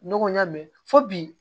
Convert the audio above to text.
Ɲɔgɔn ya mɛn fo bi